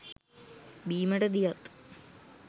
බීමට දියත්,